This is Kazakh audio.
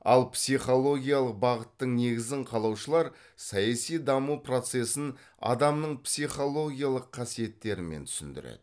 ал психологиялық бағыттың негізін қалаушылар саяси даму процесін адамның психологиялық қасиеттерімен түсіндіреді